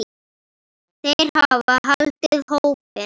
Þeir hafa haldið hópinn.